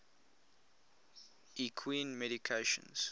equine medications